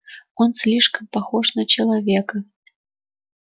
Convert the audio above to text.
он слишком похож на человека